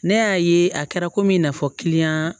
Ne y'a ye a kɛra komi i n'a fɔ